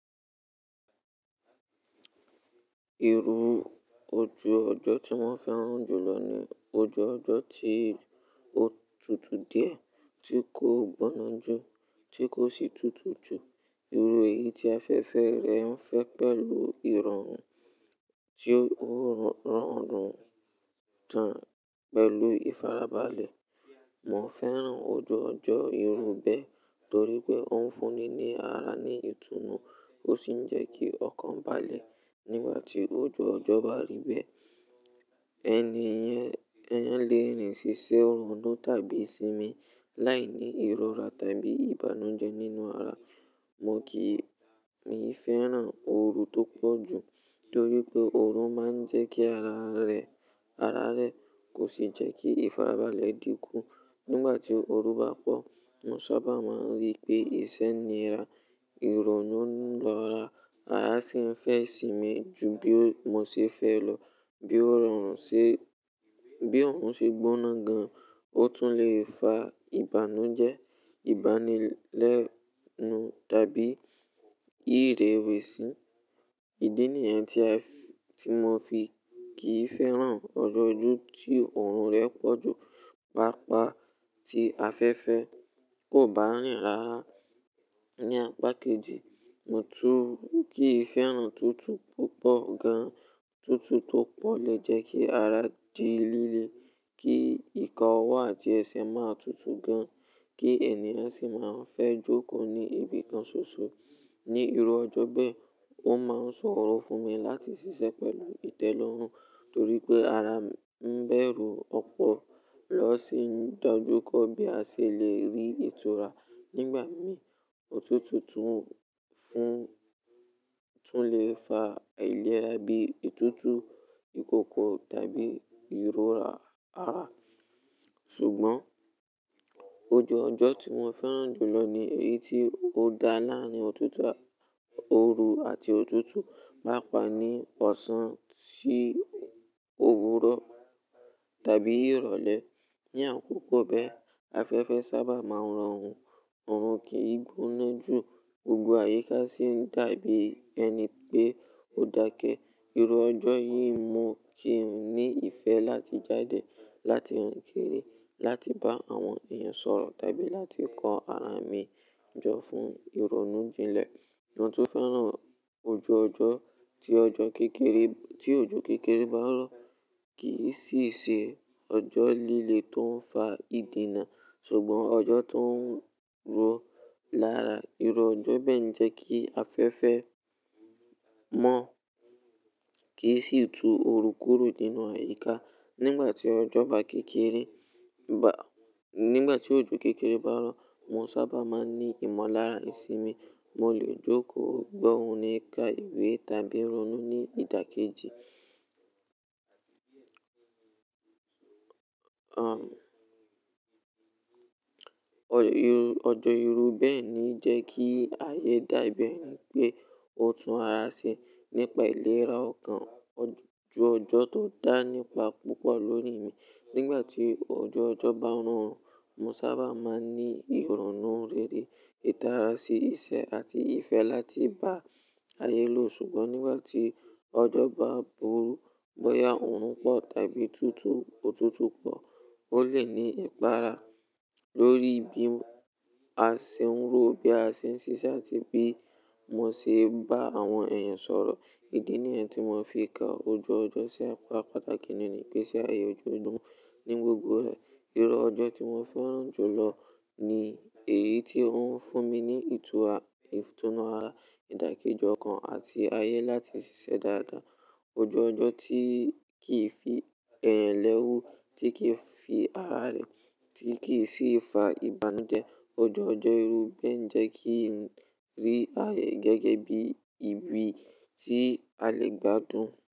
Ìru òju ọjọ́ tí mó fèrán júlọ ni òju ọjọ́ ti ó tútú diẹ, ti kò gboná jú, ti kò si tútú jù. Ìru èyí ti afẹfẹ rẹ n fè pẹlu ìròrun tí ó rán ọ̀orun tán pẹlu ìfarabalẹ̀. Mó fèrán òju ọjọ́ ìrú bẹ torí pé ó n fúnni ni ara ni ìtùnú, ó sì n jẹ́ kí ọkàn bàlẹ̀ nígbà tí òju ọjọ́ bá rì bẹ. Ẹni yen léèrin si ṣiṣẹ́ rònú tàbí sinmi láì ni ìróra tàbí ìbànújẹ́ nínú ara. Mó kì mií fèrán ooru tó pọ̀ jú torí pé ooru má n jẹ́ kí ara rẹ, ara rẹ kò sì jẹ́ kí ìfarabalẹ̀ dìnkú. Nígbà tí ooru bá pọ̀, mó sábà má n rí pé ìṣẹ́ nira, ìrònú ń lọ́ra, ara sì n fẹ́ isinmi ju bí mó ṣe fẹ́ lọ. Bí òorùn ṣe, bí oòrùn ṣe gboná gan, o tún le fa ìbànújẹ́, ìbánilẹ́nu tàbí ìrèwẹ̀sì. Ìdí nìyẹn tí mó fi kìí fèrán ọjọ́ jú tí òorùn rẹ pọ̀ jú, pàápàá tí afẹ́fẹ́ kò bá rìn rárá. Ni apá kejì, mó tún kìí fèrán tútú púpọ̀ gan. Tútú tó pọ̀ le jẹ́ kí ara di líle, kí ika owo atí ẹsẹ ma tútú gan, kí ènìyàn sì má a fẹ́ jókòó ní ibìkan ṣoṣo. Ni ìru ọjọ́ bẹ, ó má n sọ̀rọ̀ fún mi láti ṣiṣẹ́ pẹlu ìtẹ́lọ́rùn, torí pé ara n bẹrù ọ̀pọ̀lọ́ sì n dájukòó bí a ṣe le rí ìtura nígbà mìí. Òtútú tún lè fa aìlera bí ìtútù ìkókó tàbí ìróra ara. Ṣùgbọ́n òju ọjọ́ tí mó fèrán júlọ ni èyí tí ó da láàrin òtútù, òoru àti òtútù, pàápàá ní ọ̀sán sí òwùrò tàbí ìrọ̀lẹ́. Ni àkókò bẹ, afẹ́fẹ́ sábà má n ràn ọ̀orun, oọ̀run kì í gboná jú, gbogbo àyíká sì n dàbí ẹni pé ó dákẹ́. Ìru ọjọ́ yìí mó kìí ní ìfẹ́ láti jáde, láti rinkiri, láti bá àwọn èèyàn sọ̀rọ̀ tàbí láti kọ ara mi jọ fún ìrònú jinlẹ̀. Mo tin fèrán òju ojo ti ọjọ́ kekere tí òjò kékeré bá n rọ̀ kì í ṣì ṣe ọjọ́ líle tó n fà ìdìnnà, ṣùgbọ́n ọjọ́ tó n ro lára. Ìru ọjọ́ bẹ ń jẹ́ kí afẹ́fẹ́ mó kíì sì tú orúkùru nínú àyíká. Nígbà tí òjò kékeré bá rọ̀, mó sábà máa n ní ìmọ̀lára ìsinmi. Mó lè jókòó gbohun ní ká ìwé tàbí rònú ní ìdákẹ́jì. Ọjọ́ ìrú bẹ ni ì jẹ́ kí ayé dàbí ẹni pé ó tún ara ṣe. Nípa ìlera ọkàn, òju ọjọ́ tó dá nípa púpọ̀ lórí mi. Nígbà tí òju ọjọ́ bá n rán, mó sábà máa n ní ìrònú rere, ìdára sí iṣẹ́ àti ìfẹ́ láti bá ayé lò. Ṣùgbọ́n nígbà tí ọjọ́ bá burú, bóyá òorùn pọ̀ tàbí tútú, òtútù pọ̀, ó lè ní ipara lórí bí a ṣe ń ro, bí a ṣe ń ṣiṣẹ́ àti bí mó ṣe bá àwọn èèyàn sọ̀rọ̀. Ìdí nìyẹn tí mó fi ka òju ọjọ́ sí apá pàtàkì nínú ìgbèsè ayé ọju ojo ní gbogbo rẹ́. Ìró ọjọ́ tí mó fèrán júlọ ni èyí tí ó n fún mi ní ìtúnu ara, ìdákẹ́ji ọkàn àti ayé láti ṣiṣẹ́ dáadáa. Òju ọjọ́ tí kì í fi ẹ̀yàn lẹ́wu, tí kì í fi ara rẹ̀, tí kì í sì fa ìbànújẹ́. Òju ọjọ́ ìrú bẹ ń jẹ́ kí n rí ayé gẹ́gẹ́ bí ibi tí a lè gbádùn.